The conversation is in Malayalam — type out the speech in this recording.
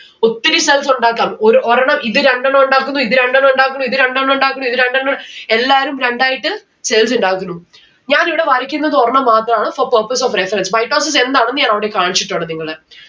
ഒത്തിരി cells ഉണ്ടാക്കാം. ഒര് ഒരെണ്ണം ഇത് രണ്ടെണ്ണം ഉണ്ടാക്കുന്നു ഇത് രണ്ടെണ്ണം ഉണ്ടാക്കുന്നു ഇത് രണ്ടെണ്ണം ഉണ്ടാക്കുന്നു ഇത് രണ്ടെണ്ണം ഉ എല്ലാവരും രണ്ടായിട്ട് cells ഇണ്ടാക്കുന്നു. ഞാൻ ഇവിടെ വായിക്കുന്നത് ഒരെണ്ണം മാത്രാണ് for purpose of reference. mitosis എന്താണെന്ന് ഞാൻ അവിടെ കാണിച്ചിട്ടുണ്ട് നിങ്ങളെ